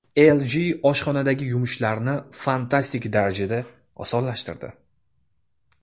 LG oshxonadagi yumushlarni fantastik darajada osonlashtirdi.